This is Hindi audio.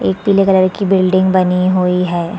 एक पीले कलर की बिल्डिंग बनी हुई हैं।